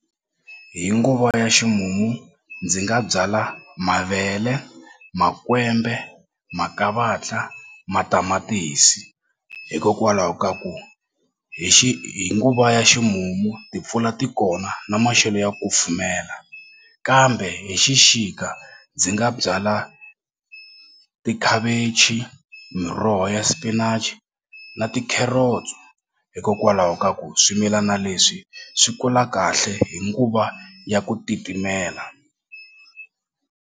Hi nguva ya ximumu ndzi nga byala mavele, makwembe, makavatla, matamatisi hikokwalaho ka ku hi hi nguva ya ximumu timpfula ti kona na maxelo ya ku kufumela kambe hi xixika ndzi nga byala tikhavichi, miroho ya spinach na tikheretso hikokwalaho ka ku swimilana leswi swi kula kahle hi nguva ya ku titimela.